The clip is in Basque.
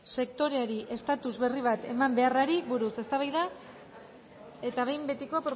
sektoreori estatus berri bat eman beharrari buruz eztabaida eta behin betiko